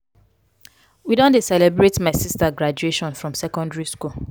we don dey celebrate my sista graduation from secondary skool.